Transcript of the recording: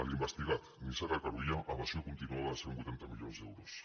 l’investigat nissaga carulla evasió continuada de cent i vuitanta milions d’euros